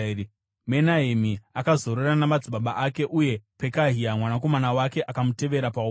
Menahemi akazorora namadzibaba ake. Uye Pekahia mwanakomana wake akamutevera paumambo.